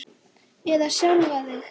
Eða sjálfan þig.